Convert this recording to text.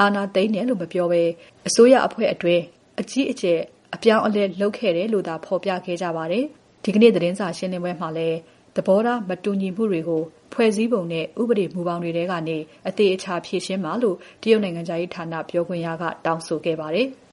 အာဏာသိမ်းတယ်လို့ မပြောဘဲ အစိုးရအဖွဲ့အတွင်း အကြီးအကျယ် အပြောင်းအလဲလုပ်တယ်လို့သာ ဖော်ပြခဲ့ကြပါတယ်။ ဒီနေ့သတင်းစာရှင်းပွဲမှာလည်း သဘောထားမတူညီမှုတွေကို ဖွဲ့စည်းပုံနဲ့ ဥပဒေမူဘောင်တွေထဲကနေ အသေအချာ ဖြေရှင်းပါလို့ တရုတ် နိုင်ငံခြားရေးဌာန ပြောခွင့်ရက တောင်းဆိုခဲ့ပါတယ်။